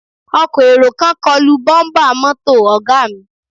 Ọkọ̀ èrò kan kọlu bọ́ḿbà mọ́tò Ọ̀ga mi